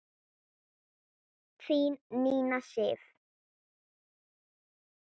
Þín Nína Sif.